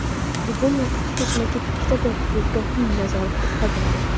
Bugun va kecha ketma-ket ikkita doping-nazorat o‘tkazildi.